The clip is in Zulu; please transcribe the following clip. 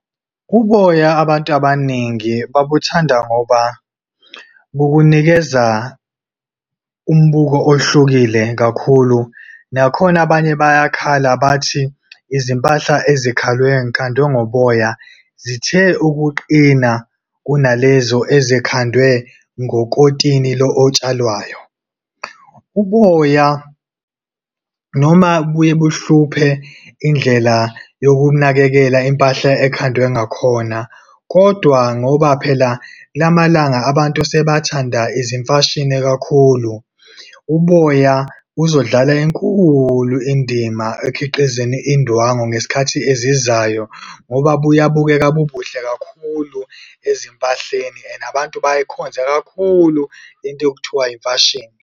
Uboya abantu abaningi babuthanda ngoba bukunikeza umbuko ohlukile kakhulu. Nakhona abanye bayakhala bathi, izimpahla ngoboya, zithe ukuqina kunalezo ezikhandwe ngokotini lo otshalwayo. Uboya noma bubuye buhluphe indlela yokunakekela impahla ekhandwe ngakhona, kodwa ngoba phela kulamalanga abantu sebathanda izimfashini kakhulu, uboya buzodlala enkulu indima ekhiqizweni indwangu ngesikhathi ezizayo ngoba buyabukeka bubuhle kakhulu ezimpahleni and abantu bayikhonze kakhulu into ekuthiwa imfashini.